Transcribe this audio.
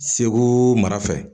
Segu mara fɛ